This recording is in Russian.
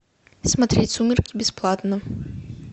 смотреть сумерки бесплатно